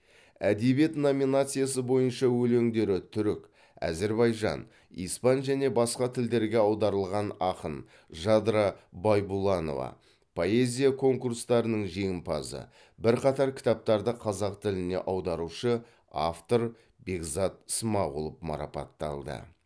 әдебиет номинациясы бойынша өлеңдері түрік әзірбайжан испан және басқа тілдерге аударылған ақын жадыра байбұланова поэзия конкурстарының жеңімпазы бірқатар кітаптарды қазақ тіліне аударушы автор бекзат смағұлов марапатталды